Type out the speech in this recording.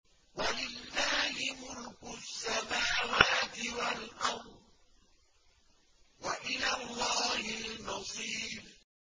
وَلِلَّهِ مُلْكُ السَّمَاوَاتِ وَالْأَرْضِ ۖ وَإِلَى اللَّهِ الْمَصِيرُ